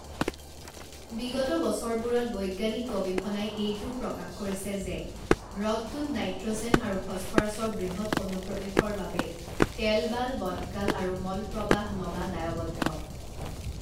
বিগত বছৰবোৰত বৈজ্ঞানিক গৱেষণাই এইটোও প্ৰকাশ কৰিছে যে হ্ৰদটোত নাইট্ৰ'জেন আৰু ফছফৰাছৰ বৃহৎ অনুপ্ৰৱেশৰ বাবে টেলবাল, বটকাল আৰু মলপ্ৰবাহ নলা দায়বদ্ধ।